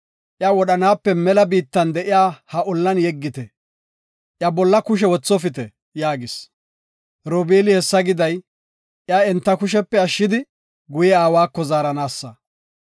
iya wodhanaape mela biittan de7iya ha ollan yeggite; iya bolla kushe wothofite” yaagis. Robeeli hessa giday, iya enta kushepe ashshidi guye aawako zaaranaasa.